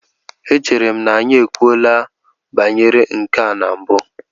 Echere m na anyị ekwuola banyere nke a na mbụ?